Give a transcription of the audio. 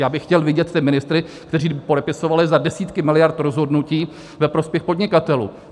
Já bych chtěl vidět ty ministry, kteří by podepisovali za desítky miliard rozhodnutí ve prospěch podnikatelů.